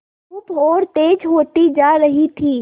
धूप और तेज होती जा रही थी